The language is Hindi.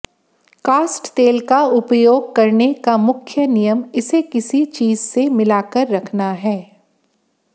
कास्ट तेल का उपयोग करने का मुख्य नियम इसे किसी चीज़ से मिलाकर रखना है